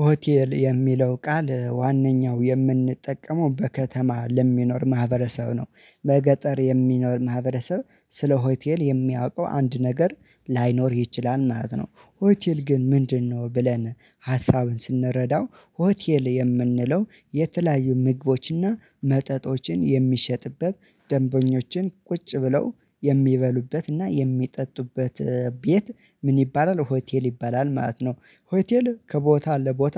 ሆቴል የሚለው ቃል ዋነኛው የምንጠቀመው በከተማ ለሚኖር ማህበረሰብ ነው በገጠር የሚኖር ማህበረሰብ ስለ ሆቴል የሚያውቀው አንድ ነገር ላይኖር ይችላል ማለት ነው። ሆቴል ግን ምንድነው ብለን? ሀሳብ ስንረዳው ሆቴል የምንለው የተለያዩ ምግቦችና መጠጦችን የሚሸጥበት ደንበኞችን ቁጭ ብለው የሚበሉበትና የሚጠጡበት ቤት ምን ይባላል ሆቴል ይባላል ማለት ነው። ሆቴል ከቦታ ለቦታ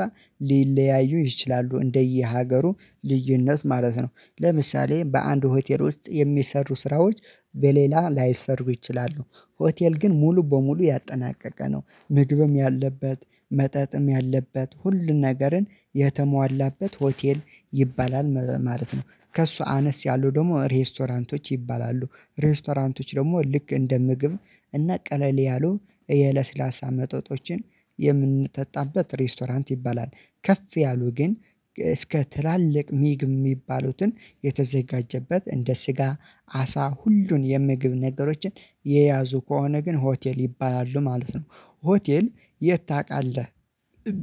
ሊለያዩ ይችላሉ እንደየሀገሩ ልዩነት ማለት ነው። ለምሳሌ በአንድ ሆቴል ውስጥ የሚሰሩ ስራዎች በሌላ ላይሰሩ ይችላሉ። ሆቴል ግን ሙሉ በሙሉ ያጠናቀቀ ነው ምግብም ያለበት መጠጥም ያለበት ሁሉን ነገርን የተሟላበት ሆቴል ይባላል ማለት ነው። ከእሱ አነስ ያሉ ደግሞ ሬስቶራንቶች ይባላሉ። ሬስቶራንቶች ደግሞ ልክ እንደ ምግብ እና ቀለል ያሉ የለስላሳ መጠጦችን የምንጠጣበት ሬስቶራንት ይባላል። ከፍ ያሉ ግን እስከ ትላልቅ ምግብ የሚባሉትን የተዘጋጀበት እንደ ስጋ አሳ ሁሉን የምግብ ነገሮችን የያዙ ከሆነ ግን ሆቴል ይባላሉ ማለት ነው። ሆቴል የት ታውቃለህ?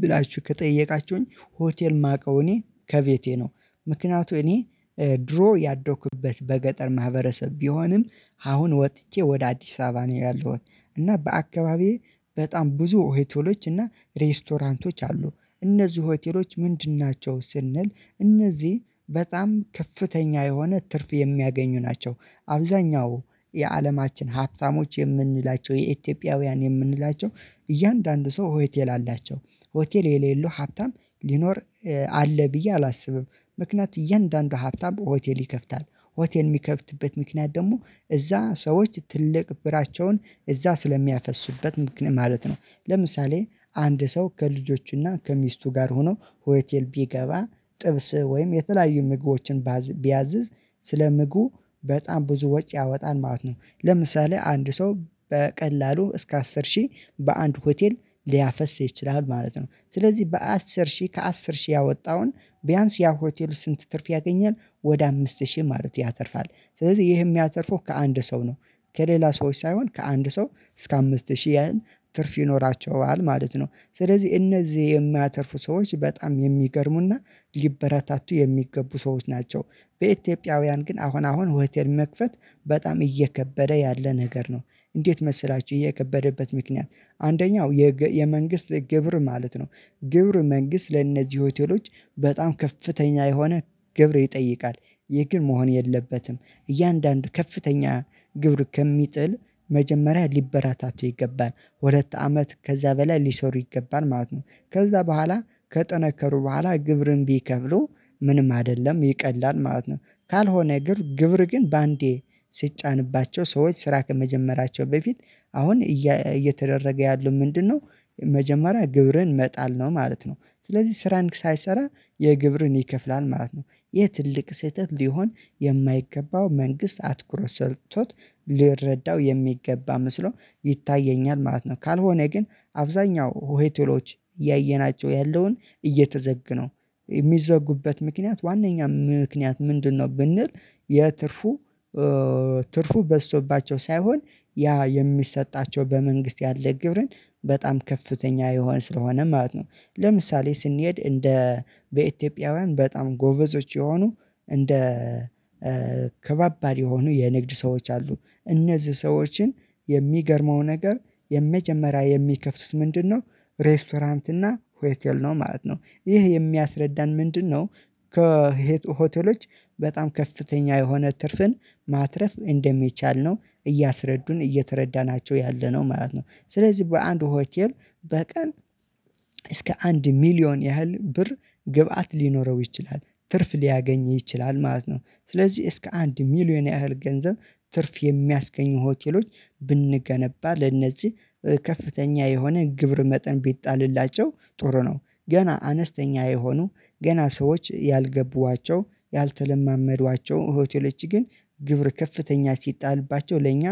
ብላችሁ ከጠየቃችሁኝ ሆቴል የማውቀው እኔ ከቤቴ ነው። ምክንያቱም እኔ ድሮ ያደኩበት በገጠር ማህበረሰብ ቢሆንም አሁን ወጥቼ ወደ አዲስ አበባ ነው ያለሁት። እና በአካባቢዬ በጣም ብዙ ሆቴሎች እና ሬስቶራንቶች አሉ። እነዚህ ሆቴሎች ምንድን ናቸው ስንል? እነዚህ በጣም ከፍተኛ የሆነ ትርፍ የሚያገኙ ናቸው። አብዛኛው የአለማችን ሀብታሞች የምንላቸው የኢትዮጵያውያን የምንላቸው እያንዳንዱ ሰው ሆቴል አላቸው። ሆቴል የሌለው ሀብታም ሊኖር አለ ብዬ አላስብም። ምክንያቱም እያንዳንዱ ሀብታም ሆቴል ይከፍታል ሆቴል የሚከፍትበት ምክንያት ደግሞ እዛ ሰዎች ትልቅ ብራቸውን እዛ ስለሚያፈሱበት ምክንያት ማለት ነው። ለምሳሌ አንድ ሰው ከልጆቹና ከሚስቱ ጋር ሆኖ ሆቴል ቢገባ ጥብስ ወይም የተለያዩ ምግቦችን ቢያዝዝ ስለ ምግቡ በጣም ብዙ ወጪ ያወጣን ማለት ነው። ለምሳሌ አንድ ሰው በቀላሉ እስከ አስር ሺህ በአንድ ሆቴል ሊያፈስ ይችላል ማለት ነው። ስለዚህ በአስር ሺህ ከአስር ሺህ ያወጣውን ቢያንስ ያ ሆቴል ስንት ትርፍ ያገኛል ወደ አምስት ሺህ ማለት ያተርፋል ስለዚህ ይሄ የሚያተርፈው ከአንድ ሰው ነው። ከሌላ ሰዎች ሳይሆን ከአንድ ሰው እስከ አምስት ሺህ ያህል ትርፍ ይኖራቸዋል ማለት ነው። ስለዚህ እነዚህ የሚያተርፉ ሰዎች በጣም የሚገርሙና ሊበረታቱ የሚገቡ ሰዎች ናቸው። በኢትዮጵያውያን ግን አሁን አሁን ሆቴል መክፈት በጣም እየከበደ ያለ ነገር ነው። እንዴት መሰላችሁ? እየከበደበት ምክንያት አንደኛው የመንግስት ግብር ማለት ነው። ግብር መንግስት ለእነዚህ ሆቴሎች በጣም ከፍተኛ የሆነ ግብር ይጠይቃል። ይህ ግን መሆን የለበትም። እያንዳንዱ ከፍተኛ ግብር ከሚጥል መጀመሪያ ሊበረታቱ ይገባል ሁለት አመት ከዚያ በላይ ሊሰሩ ይገባል ማለት ነው ከዚያ በኋላ ከጠነከሩ በኋላ ግብርን ቢከብሉ ምንም አይደለም ይቀላል ማለት ነው። ካልሆነ ግብር ግን በአንዴ ሲጫንባቸው ሰዎች ስራ ከመጀመራቸው በፊት አሁን እየተደረገ ያሉት ምንድነው? መጀመሪያ ግብርን መጣል ነው ማለት ነው ስለዚህ ስራን ሳይሰራ የግብርን ይከፍላል ማለት ነው። ይሄ ትልቅ ስህተት ሊሆን የማይገባው መንግስት አትኩረት ሰጥቶት ሊረዳው የሚገባ መስሎ ይታየኛል ማለት ነው። ካልሆነ ግን አብዛኛው ሆሄቶሎች እያየናቸው ያለውን የሚዘጉበት ምክንያት ዋናኛ ምክንያት ምንድነው ብንል? ትርፉ በዝቶባቸው ሳይሆን ያ የሚሰጣቸው በመንግስት ያለ ግብርን በጣም ከፍተኛ የሆን ስለሆነ ማለት ነው። ለምሳሌ ስንሄድ እንደ በኢትዮጵያውያን በጣም ጎበዞች የሆኑ እንደ ከባባድ የሆኑ የንግድ ሰዎች አሉ። እነዚህ ሰዎችን የሚገርመው ነገር የመጀመሪያ የሚከፍቱት ምንድነው? ሬስቶራንት እና ሆቴል ነው ማለት ነው። ይህ የሚያስረዳን ምንድነው? ሆቴሎች በጣም ከፍተኛ የሆነ ትርፍን ማትረፍ እንደሚቻል ነው እያስረዱን እየተረዳናቸው ያለነው ማለት ነው። ስለዚህ በአንድ ሆቴል በቀን በቀን እስከ አንድ ሚሊዮን ያህል ብር ግብአት ሊኖረው ይችላል ትርፍ ሊያገኝ ይችላል ማለት ነው። ስለዚህ እስከ አንድ ሚሊየን ያህል ገንዘብ ትርፍ የሚያስገኙ ሆቴሎች ብንገነባ ለነዚህ ከፍተኛ የሆነ ግብር መጠን ቢጣልላቸው ጥሩ ነው። ገና አነስተኛ የሆኑ ገና ሰዎች ያልገቡዋቸው ያልተለማመዱዋቸው ሆቴሎች ግን ግብር ከፍተኛ ሲጣልባቸው ለእኛ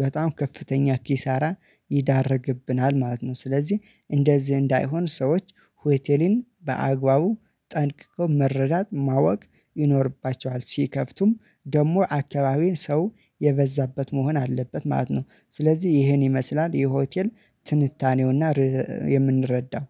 በጣም ከፍተኛ ኪሳራ ይዳረግብናል ማለት ነው። ስለዚህ እንደዚህ እንዳይሆን ሰዎች ሆቴሌን በአግባቡ ጠንቅቀው መረዳት ማወቅ ይኖርባቸዋል ሲከፍቱም ደግሞ አካባቢን ሰው የበዛበት መሆን አለበት ማለት ነው። ስለዚህ ይሄን ይመስላል የሆቴል ትንታኔውና የምንረዳው